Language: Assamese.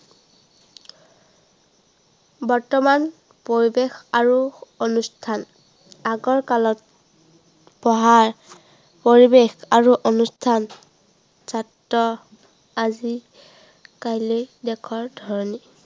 বৰ্তমান পৰিৱেশ আৰু অনুষ্ঠান। আগৰ কালত পঢ়া পৰিৱেশ আৰু অনুষ্ঠান ছাত্ৰ আজি কালিৰ দেশৰ ধৰণী